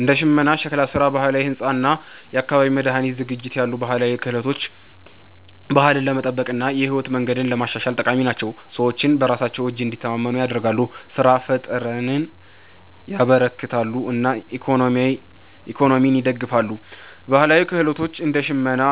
እንደ ሽመና፣ ሸክላ ስራ፣ ባህላዊ ሕንፃ እና የአካባቢ መድኃኒት ዝግጅት ያሉ ባህላዊ ክህሎቶች ባህልን ለመጠበቅ እና የህይወት መንገድን ለማሻሻል ጠቃሚ ናቸው። ሰዎችን በራሳቸው እጅ እንዲተማመኑ ያደርጋሉ፣ ስራ ፍጠርን ያበረክታሉ እና ኢኮኖሚን ይደግፋሉ። ባህላዊ ክህሎቶች እንደ ሽመና፣